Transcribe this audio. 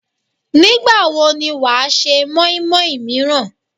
Nígbà wo ni wàá se móínmóín míràn?